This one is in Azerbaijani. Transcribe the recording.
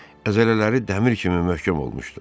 Əzələləri dəmir kimi möhkəm olmuşdu.